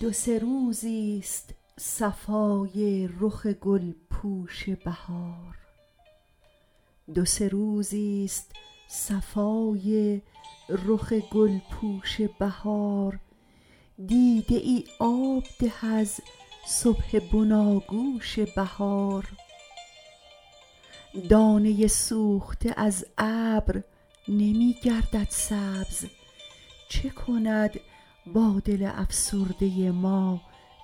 دوسه روزی است صفای رخ گلپوش بهار دیده ای آب ده از صبح بناگوش بهار دانه سوخته از ابر نمی گردد سبز چه کند بادل افسرده ما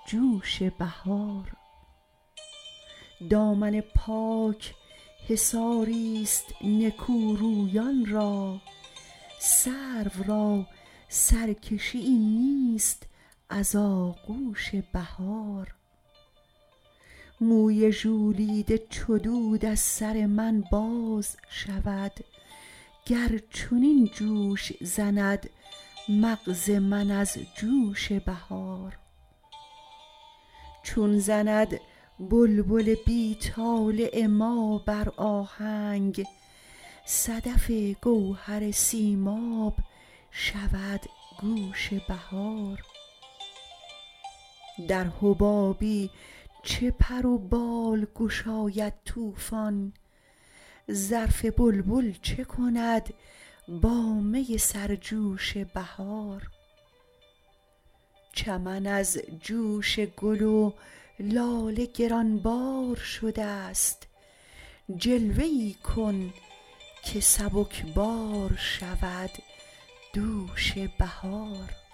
جوش بهار دامن پاک حصاری است نکورویان را سروراسرکشیی نیست از آغوش بهار موی ژولیده چو دود از سر من باز شود گرچنین جوش زند مغز من از جوش بهار چون زند بلبل بی طالع ما بر آهنگ صدف گوهر سیماب شود گوش بهار در حبابی چه پر و بال گشاید طوفان ظرف بلبل چه کند بامی سرجوش بهار چمن از جوش گل و لاله گرانبار شده است جلوه ای کن که سبکبار شود دوش بهار